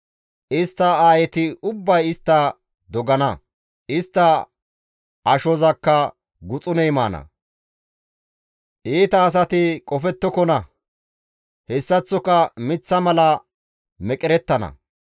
Istta aayeti ubbay istta dogana; istta ashozakka guxuney maana; iita asati qofettokona; hessaththoka miththa mala meqerettana.